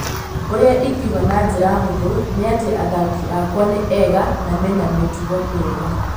Ũrĩa ingiuga na njĩra hũthũ nĩ atĩ athaki akwa nĩ ega na mena mĩtugo mĩega